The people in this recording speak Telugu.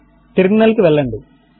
టెర్మినల్ కు వెళ్ళండి